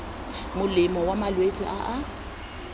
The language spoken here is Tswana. molemo wa malwetse a a